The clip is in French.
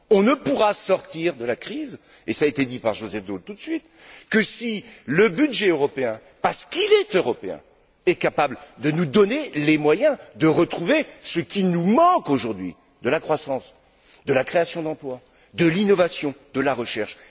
On ne pourra sortir de la crise, et ça a été dit par Joseph Daul tout de suite, que si le budget européen, parce qu'il est européen, est capable de nous donner les moyens de retrouver ce qui nous manque aujourd'hui, à savoir de la croissance, de la création d'emploi, de l'innovation, de la recherche.